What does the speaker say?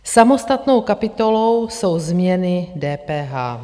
Samostatnou kapitolou jsou změny DPH.